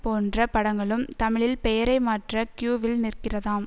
போன்ற படங்களும் தமிழில் பெயரை மாற்ற கியூவில் நிற்கிறதாம்